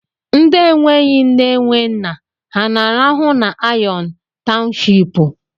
Ndi enweghi nne, enwe nna, ha na-arụhụ na iron a townshipu?